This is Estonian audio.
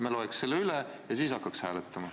Me loeks selle üle ja siis hakkaks hääletama.